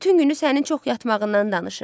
Bütün günü sənin çox yatmağından danışır.